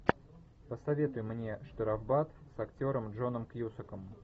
посоветуй мне штрафбат с актером джоном кьюсаком